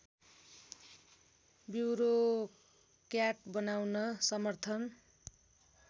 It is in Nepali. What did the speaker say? ब्युरोक्र्याट बनाउन समर्थन